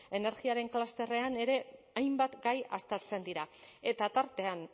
energiaren klusterrean ere hainbat gai aztertzen dira eta tartean